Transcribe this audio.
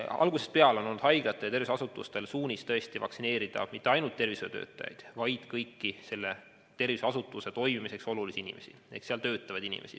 Algusest peale on olnud haiglatel ja muudel tervishoiuasutustel suunis vaktsineerida mitte ainult tervishoiutöötajaid, vaid kõiki selle tervishoiuasutuse toimimiseks olulisi inimesi ehk seal töötavaid inimesi.